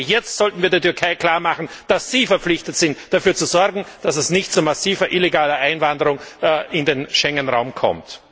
Gerade jetzt sollten wir der Türkei klarmachen, dass sie verpflichtet ist, dafür zu sorgen, dass es nicht zu massiver illegaler Einwanderung in den Schengenraum kommt!